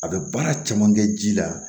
A bɛ baara caman kɛ ji la